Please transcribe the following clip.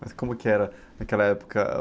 Mas como que era naquela época? Ah...